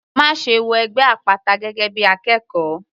Máṣe wọ ẹgbẹ́ àpáta gẹ́gẹ́ bí akẹ́kọ̀ọ́!.